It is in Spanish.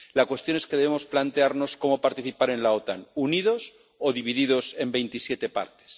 La cuestión es que debemos plantearnos cómo participar en la OTAN, unidos o divididos en veintisiete partes.